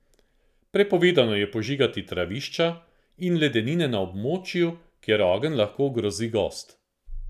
Prepovedano je požigati travišča in ledine na območju, kjer ogenj lahko ogrozi gozd.